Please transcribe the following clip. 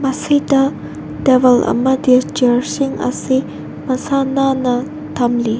ꯑꯁꯤꯗ ꯇꯦꯕꯜ ꯑꯃꯗꯤ ꯆꯤꯑꯦꯔ ꯁꯤꯡ ꯑꯁꯤ ꯃꯁꯥ ꯅꯥꯟꯅ ꯊꯝꯂꯤ꯫